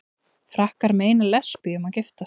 Frakkar meina lesbíum að giftast